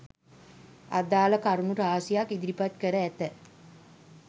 අදාළ කරුණු රාශියක් ඉදිරිපත් කර ඇත